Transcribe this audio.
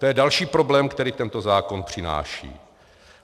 To je další problém, který tento zákon přináší.